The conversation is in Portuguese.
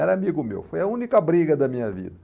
Era amigo meu, foi a única briga da minha vida.